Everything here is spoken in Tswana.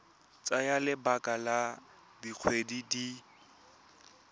tsaya lebaka la dikgwedi di